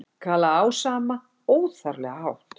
galaði Ása amma, óþarflega hátt.